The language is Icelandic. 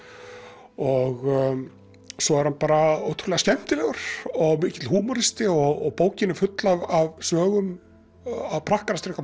og svo er hann bara ótrúlega skemmtilegur og mikill húmoristi og bókin er full af sögum af prakkarastrikum